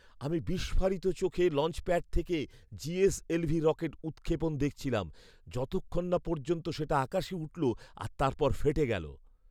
আমি বিস্ফারিত চোখে লঞ্চপ্যাড থেকে জিএসএলভি রকেট উৎক্ষেপণ দেখছিলাম, যতক্ষণ না পর্যন্ত সেটা আকাশে উঠল আর তারপর ফেটে গেলো।